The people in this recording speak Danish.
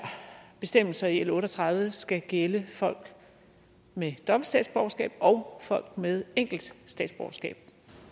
bestemmelser i l otte og tredive skal gælde folk med dobbelt statsborgerskab og folk med enkelt statsborgerskab